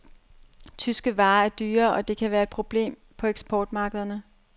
Tyske varer er dyre, og det kan være et problem på eksportmarkederne.